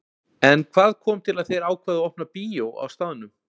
En hvað kom til að þeir ákváðu að opna bíó á staðnum?